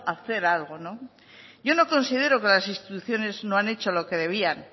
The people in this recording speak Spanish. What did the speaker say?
a hacer algo yo no considero que las instituciones no han hecho lo que debían